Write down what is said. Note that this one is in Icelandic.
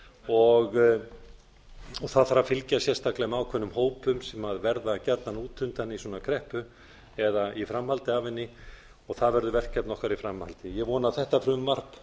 og það þarf að fylgja sérstaklega ákveðnum hópum sem verða gjarnan útundan í svona kreppu eða í framhaldi af henni og það verður verkefni okkar í framhaldinu ég vona að þetta frumvarp